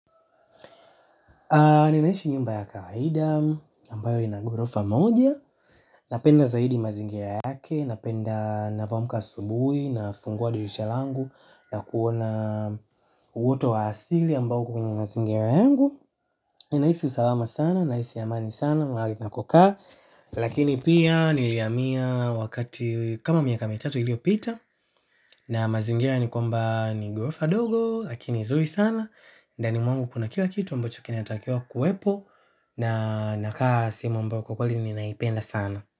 Ninaishi nyumba ya kaida ambayo ina gorofa moja. Napenda zaidi mazingira yake napenda ninavyo amka asubuhi. Nafungua dirisha langu na kuona uwote wa asili ambao uko kwenye mazingira yangu. Ninahisi usalama sana nahisi amani sana mahali ninakokaa. Lakini pia nilihamia. Wakati kama miaka mitatu iliyopita na mazingira ni kwamba ni gorofa dogo lakini zuri sana. Ndani mwangu kuna kila kitu ambacho kinatakiwa kuwepo na nakaa sehemu ambao kwa kweli ninaipenda sana.